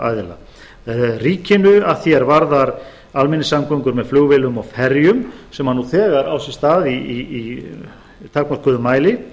aðila ríkinu að því er varðar almenningssamgöngur með flugvélum og ferjum sem nú þegar á sér stað í takmörkuðum mæli